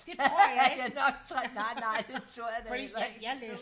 det tror jeg ikke nej nej det tror jeg da heller ikke